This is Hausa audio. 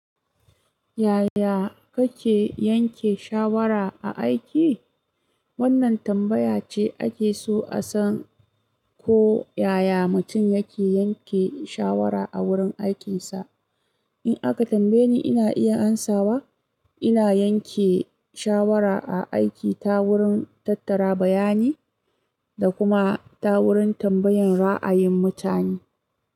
Yaya kake yanke shawara a aiki? Wannan tambaya ce ake so a san ko yaya mutum yake yanke shawara a wurin aikinsa. In aka tambaye ni, ina iya amsawa. Ina yanke shawara a aiki ta wurin tattara bayani da kuma ta wurin tambayan ra'ayin mutane.